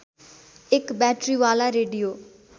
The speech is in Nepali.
एक ब्याट्रीवाला रेडियो